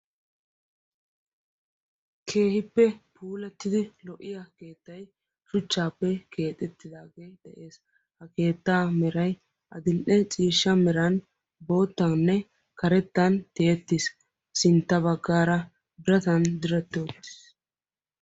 keehippe puulattidi lo''iya keettai shuchchaappe keexettidaagee de7ees ha keettaa merai adil''e ciishsha meran botaanne karettan tiyettiis sintta baggaara biratan dirattioottiis